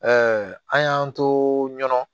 an y'an to ɲɔgɔnna